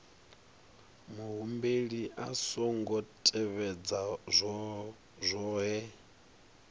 muhumbeli a songo tevhedza zwohe